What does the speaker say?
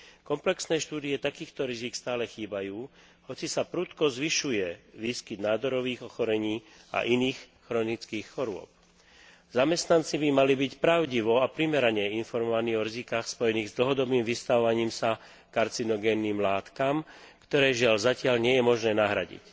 Komplexné štúdie takýchto rizík stále chýbajú hoci sa prudko zvyšuje výskyt nádorových ochorení a iných chronických chorôb. Zamestnanci by mali byť pravdivo a primerane informovaní o rizikách spojených s dlhodobým vystavovaním sa karcinogénnym látkam, ktoré, žiaľ, zatiaľ nie je možné nahradiť.